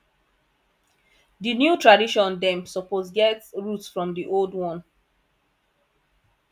di new tradition dem suppose get root from di old one